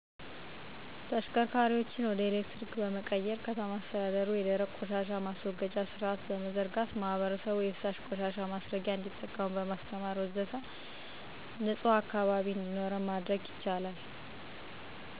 ተሽከርካሪዎችን ወደ ኤሌክትሪክ በመቀየር፣ ከተማ አስተዳደሩ የደረቅ ቆሻሻ ማስወገጃ ስርአት በመዘርጋት፣ ማህበረሰቡ የፈሳሽ ቆሻሻ ማስረጊያ እንዲጠቀሙ በማስተማር ወዘተ...